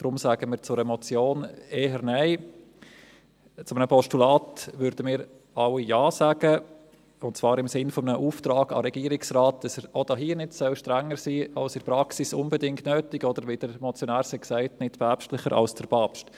Daher sagen wir zu einer Motion eher Nein, zu einem Postulat würden wir alle Ja sagen, und zwar im Sinne eines Auftrags an den Regierungsrat, dass er auch hier nicht strenger sein soll als in der Praxis unbedingt nötig, oder wie es der Motionär sagte: nicht päpstlicher als der Papst.